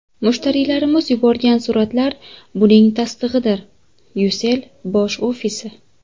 Mushtariylarimiz yuborgan suratlar buning tasdig‘idir: Ucell bosh ofisi.